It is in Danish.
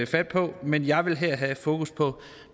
fat på men jeg vil her have fokus på